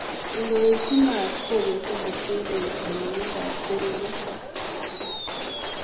Ingoityi maat kobete mochelek anyonyindab serunek.